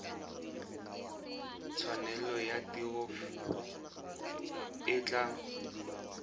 tshwanelo ya tiro e tla